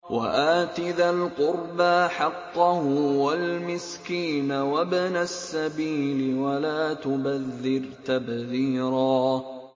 وَآتِ ذَا الْقُرْبَىٰ حَقَّهُ وَالْمِسْكِينَ وَابْنَ السَّبِيلِ وَلَا تُبَذِّرْ تَبْذِيرًا